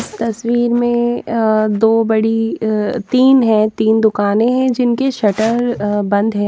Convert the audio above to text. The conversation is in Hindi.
इस तस्वीर में अह दो बड़ी अह तीन है तीन दुकानें हैं जिनके शटर अह बंद हैं।